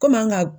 Komi an ka